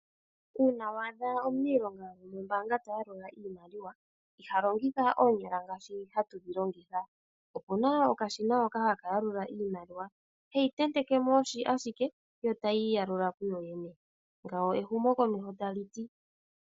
Uuna waadha omuniilonga gwomombaanga tayalula iimaliwa, iha longitha oonyala okuyalula. Mongashingeyi opuna okashina hoka haka longithwa okuyalula iimaliwa. Oheyi tenteke mo ashike etayi tameke okwiiyalula. Ngawo ehumokomeho taliti.